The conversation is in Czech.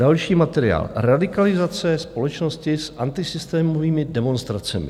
Další materiál: Radikalizace společnosti s antisystémovými demonstracemi.